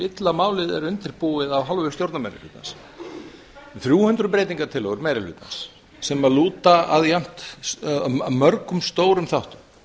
illa málið er undirbúið af hálfu stjórnarmeirihlutans um þrjú hundruð breytingartillögur meiri hlutans sem lúta að mörgum stórum þáttum